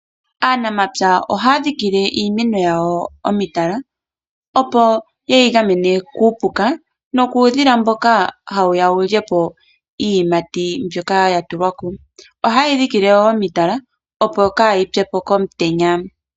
Aanamapya ohaadhikile iimeno yawo omitala , opo yeyi gamene kuupuka nokuudhila mboka hawuya wulyepo iiyimati mbyoka yatulwa ko, ohayeyi dhikile woo omitala opo kaayi pyepo komutenya.